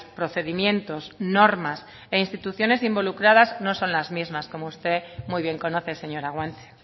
procedimientos normas e instituciones involucradas no son las mismas como usted muy bien conoce señora guanche